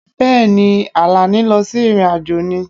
Bẹ́ẹ̀ ni, Àlàní lọ sí ìrìn-àjò ni